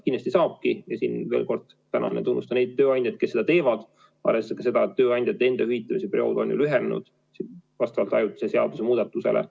Kindlasti saabki ja siin ma tänan ja tunnustan neid tööandjaid, kes seda teevad, arvestades ka seda, et tööandjate enda hüvitamise periood on lühenenud vastavalt ajutisele seadusemuudatusele.